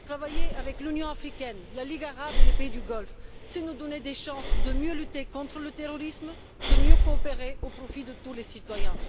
Travailler avec l'Union africaine, la Ligue arabe et les pays du Golfe, c'est nous donner des chances de mieux lutter contre le terrorisme, de mieux coopérer, au profit de tous les citoyens.